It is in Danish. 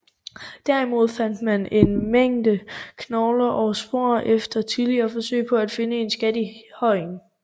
Derimod fandt man en mængde knogler og spor efter tidligere forsøg på at finde en skat i højen